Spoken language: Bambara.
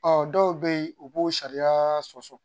Ɔ dɔw bɛ yen u b'o sariya sɔsɔ